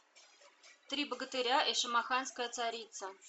три богатыря и шамаханская царица